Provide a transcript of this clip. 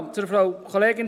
Frau Kollegin